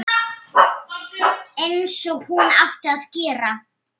Einsog hún átti að gera.